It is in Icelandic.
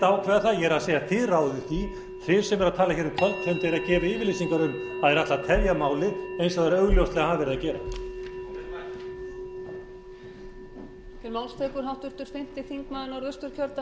ákveða það ég er að segja þið ráðið því þið sem eruð að tala um kvöldfund eruð að gefa yfirlýsingar um að þið ætlið að tefja málið eins og þið hafið augljóslega verið að gera